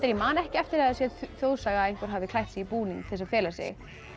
ég man ekki eftir að það sé þjóðsaga að einhver hafði klætt sig í búning til þess að fela sig